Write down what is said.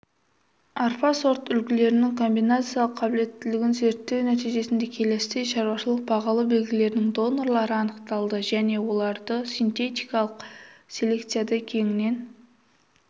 арпа сортүлгілерінің комбинациялық қабілеттілігін зерттеу нәтижесінде келесідей шаруашылық-бағалы белгілерінің донорлары анықталды және оларды синтетикалық селекцияда кеңінен